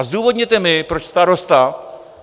A zdůvodněte mi, proč starosta.